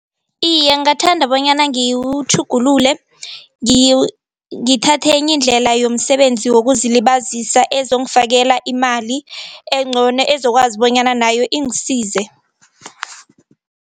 Iye, ngingathanda bonyana ngiwutjhugulule ngithathe enye indlela yomsebenzi wokuzilibazisa ezongifakela imali engcono ezokwazi bonyana nayo ingisize.